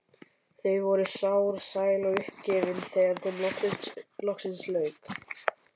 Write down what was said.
Þau voru sár, sæl og uppgefin þegar þeim loksins lauk.